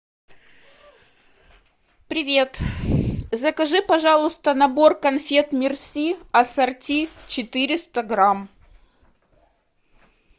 привет закажи пожалуйста набор конфет мерси ассорти четыреста грамм